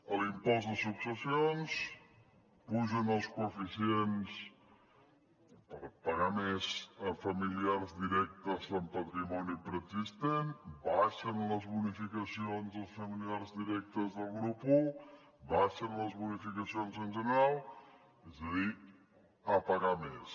a l’impost de successions pugen els coeficients per pagar més a familiars directes en patrimoni preexistent baixen les bonificacions als familiars directes del grup i baixen les bonificacions en general és a dir a pagar més